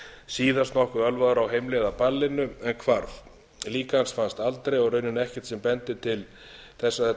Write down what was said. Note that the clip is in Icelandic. síðast nokkuð ölvaður á heimleið af ballinu en hvarf lík hans hefur aldrei fundist og í raun ekkert sem bendir til þess að